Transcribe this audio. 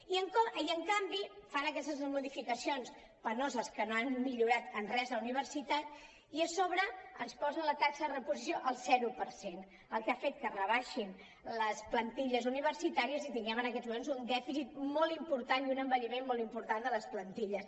i en canvi fan aquestes modificacions penoses que no han millorat en res la uni·versitat i a sobre ens posen la taxa de reposició al zero per cent cosa que ha fet que es rebaixin les plantilles universitàries i tinguem en aquests moments un dèficit molt important i un envelliment molt important de les plantilles